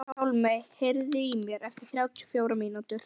Hjálmey, heyrðu í mér eftir þrjátíu og fjórar mínútur.